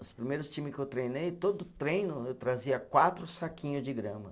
Os primeiros times que eu treinei, todo treino eu trazia quatro saquinho de grama.